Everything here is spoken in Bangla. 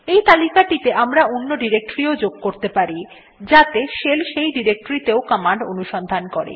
এই তালিকাটিতে আমরা অন্য ডিরেক্টরী ও যোগ করতে পারি যাতে শেল সেই ডিরেক্টরী তেও কমান্ড অনুসন্ধান করে